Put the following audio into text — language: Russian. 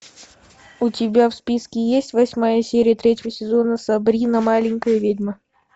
у тебя в списке есть восьмая серия третьего сезона сабрина маленькая ведьма